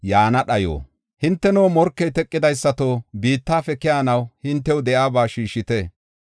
Hinteno, morkey teqidaysato, biittafe keyanaw hintew de7iyaba shiishite.